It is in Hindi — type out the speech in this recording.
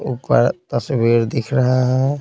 ऊपर तस्वीर दिख रहे हैं।